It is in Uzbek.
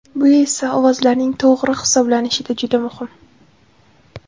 Bu esa ovozlarning to‘g‘ri hisoblanishida juda muhim.